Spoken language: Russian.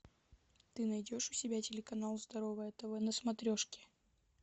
ты найдешь у себя телеканал здоровое тв на смотрешке